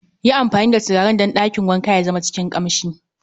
yi amfani da turaren dan dakin wanka ya zama cikin kamshi